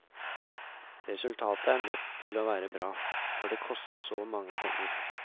Resultatet er nødt til å være bra, for det koster så mange penger.